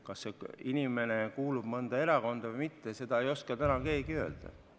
Kas see inimene kuulub mõnda erakonda või mitte, seda ei oska täna keegi öelda.